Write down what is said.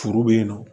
Furu bɛ yen nɔ